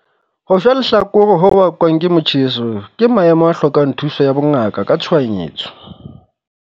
Ho shwa lehlakore ho bakwang ke motjheso ke maemo a hlokang thuso ya bongaka ka tshohanyetso.